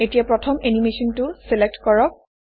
এতিয়া প্ৰথম এনিমেচনটো চিলেক্ট কৰক